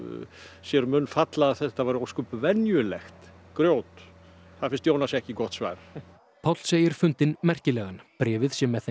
sér um munn falla að þetta væri ósköp venjulegt grjót það finnst Jónasi ekki gott svar Páll segir fundinn merkilegan bréfið sé með þeim